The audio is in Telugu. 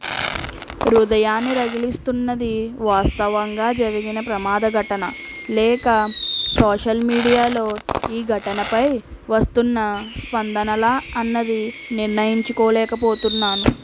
హృదయాన్ని రగిలిస్తున్నది వాస్తవంగా జరిగిన ప్రమాద ఘటనా లేక సోషల్ మీడియాలో ఈ ఘటనపై వస్తున్న స్పందనలా అన్నది నిర్ణయించుకోలేకపోతున్నాను